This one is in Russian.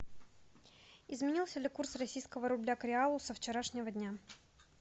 изменился ли курс российского рубля к реалу со вчерашнего дня